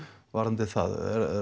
varðandi það